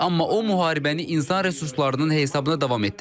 Amma o müharibəni insan resurslarının hesabına davam etdirəcək.